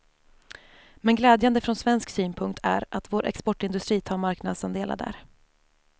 Men glädjande från svensk synpunkt är att vår exportindustri tar marknadsandelar där.